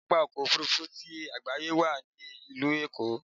Pápá ọkọ̀ Òfurufú ti àgbáyé wà ní ìlú Èkó.